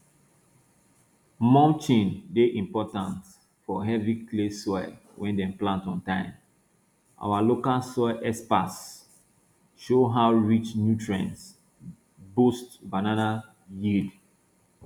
mulching dey important fo heavy clay soil wen dem plant on time our local soil experts show how rich nutrients boost banana yield